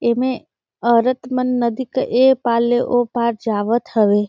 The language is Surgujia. एमे औरत मन नदी क ए पार ले ओ पार जावत हवे।